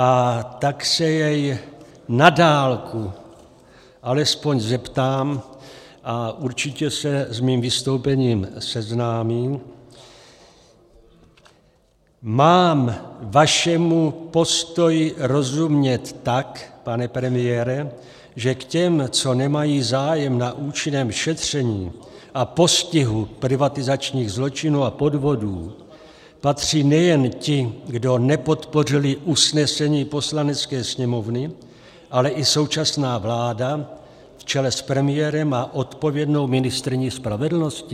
A tak se jej na dálku alespoň zeptám, a určitě se s mým vystoupením seznámí: mám vašemu postoji rozumět tak, pane premiére, že k těm, co nemají zájem na účinném šetření a postihu privatizačních zločinů a podvodů, patří nejen ti, kdo nepodpořili usnesení Poslanecké sněmovny, ale i současná vláda v čele s premiérem a odpovědnou ministryní spravedlnosti?